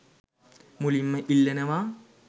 මුලින්ම ඉල්ලනවා.